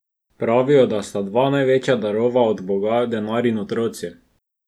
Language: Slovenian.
Pravijo, da sta dva največja darova od Boga, denar in otroci.